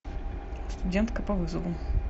студентка по вызову